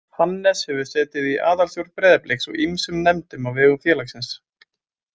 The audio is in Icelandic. Hannes hefur setið í aðalstjórn Breiðabliks og ýmsum nefndum á vegum félagsins.